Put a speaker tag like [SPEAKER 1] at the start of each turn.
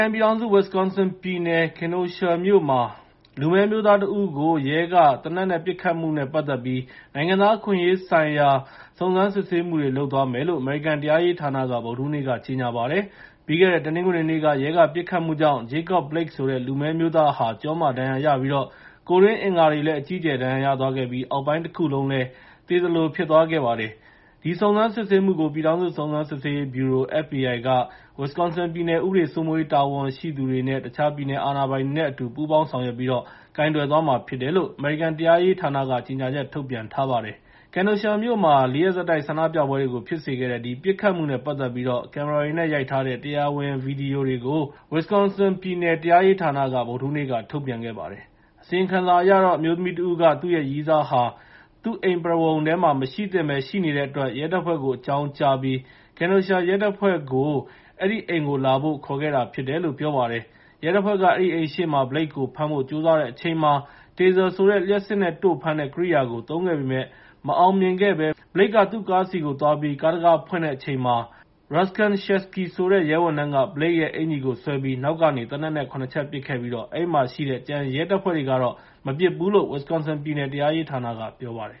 [SPEAKER 1] န်ပြည်ထောင်စု Wisconsin ပြည်နယ် Kenosha မြို့မှာ လူမည်းအမျိုးသားတဦးကို ရဲက သေနတ်နဲ့ပစ်ခတ်မှုနဲ့ပတ်သက်ပြီး နိုင်ငံသားအခွင့်အရေးဆိုင်ရာ စုံစမ်းစစ်ဆေးမှုတွေ လုပ်သွားမယ်လို့ အမေရိကန်တရားရေးဌာနက ဗုဒ္ဓဟူးနေ့က ကြေငြာပါတယ်။ ပြီးခဲ့တဲ့ တနင်္ဂနွေနေ့က ရဲကပစ်ခတ်မှုကြောင့် Jacob Blake ဆိုတဲ့ လူမည်းအမျိုးသားဟာ ကျောမှာရော ကိုယ်တွင်းအင်္ဂါတွေမှာပါ အကြီးအကျယ်ဒဏ်ရာရသွားပြီး အောက်ပိုင်းတခုလုံးလည်း သေသလိုဖြစ်သွားခဲ့ပါတယ်။ ဒီစုံစမ်းစစ်ဆေးမှုကိုတော့ ပြည်ထောင်စုစုံစမ်းစစ်ဆေးရေးဗျူရို (FBI) က Wisconsin ပြည်နယ် ဥပဒေစိုးမိုးရေး တာဝန်ရှိသူတွေ တခြားပြည်နယ်အာဏာပိုင်တွေနဲ့ အတူ ပူးပေါင်းဆောင်ရွက်ပြီး ကိုင်တွယ်သွားမှာဖြစ်တယ်လို့ အမေရိကန်တရားရေးဌာနက ကြေငြာချက် ထုတ်ပြန်ပါတယ်။ Kenosha မြို့မှာ ၄ ရက်ဆက်တိုက် ဆန္ဒပြပွဲတွေကို ဖြစ်စေခဲ့တဲ့ ပစ်ခတ်မှုနဲ့ပတ်သက်ပြီး ကင်မရာတွေနဲ့ ရိုက်ထားတဲ့ တရားဝင်ဗီဒီယိုတွေကို Wisconsin တရားရေးဌာနက ဗုဒ္ဓဟူးနေ့က ထုတ်ပြန်ခဲ့ပါတယ်။ အစီရင်ခံစာအရတော့ အမျိုးသမီးတဦးက သူ့ရဲ့ ရည်းစားဟာ သူအိမ်ပရဝဏ်ထဲမှာ မရှိသင့်ဘဲ ရှိနေတဲ့အတွက် ရဲတပ်ဖွဲ့ကိုအကြောင်းကြားပြီး Kenosha ရဲတပ်ဖွဲ့ကို အဲဒီအိမ်ကိုလာဖို့ ခေါ်ခဲ့တာဖြစ်တယ်လို့ ပြောပါတယ်။ ရဲတပ်ဖွဲ့က အဲဒီအိမ်ရှေ့မှာ Blake ကို ဖမ်းဖို့ ကြိုးစားတဲ့အချိန်မှာ Taser ဆိုတဲ့ လျှပ်စစ်နဲ့တို့ဖမ်းတဲ့ ကိရိယာကို သုံးခဲ့ပေမဲ့ မအောင်မြင်ခဲ့ဘဲ Blake က သူ့ကားဆီကိုသွားပြီး ကားတံခါးဖွင့်တဲ့အချိန်မှာ Rusken Sheskey ဆိုတဲ့ ရဲဝန်ထမ်းက Blake ရဲ့ အင်္ကျီကိုဆွဲပြီး နောက်ကနေ သေနတ်နဲ့ ၇ ချက်ပစ်ခဲ့ပြီး အဲဒီမှာရှိတဲ့ ကျန်တဲ့ ရဲတွေကတော့ မပစ်ဘူးလို့ Wisconsin ပြည်နယ်တရားရေးဌာနက ပြောပါတယ်